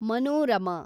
Manorama